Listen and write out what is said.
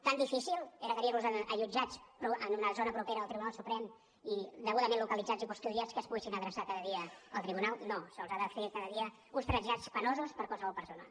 tan difícil era tenir los allotjats en una zona propera al tribunal suprem i degudament localitzats i custodiats que es poguessin adreçar cada dia al tribunal no se’ls han de fer cada dia uns trasllats penosos per a qualsevol persona